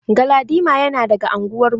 Galadima yana daga anguwar mu.